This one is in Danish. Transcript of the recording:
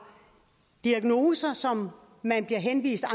diagnoser som man henviser